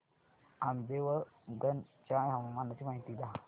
आंबेवंगन च्या हवामानाची माहिती द्या